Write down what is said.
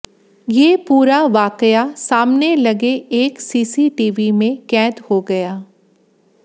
ये पूरा वाकया सामने लगे एक सीसीटीवी में कैद हो गया